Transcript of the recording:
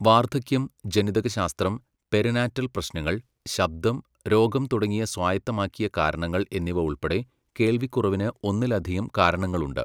വാർദ്ധക്യം, ജനിതകശാസ്ത്രം, പെരിനാറ്റൽ പ്രശ്നങ്ങൾ, ശബ്ദം, രോഗം തുടങ്ങിയ സ്വായത്തമാക്കിയ കാരണങ്ങൾ എന്നിവ ഉൾപ്പെടെ, കേൾവിക്കുറവിന് ഒന്നിലധികം കാരണങ്ങളുണ്ട്.